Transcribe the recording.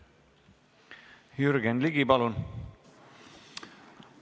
Jürgen Ligi, palun!